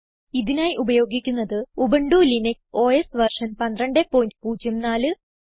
ഇതിനായി ഉപയോഗിക്കുന്നത് Ubuntu Linux OS version 1204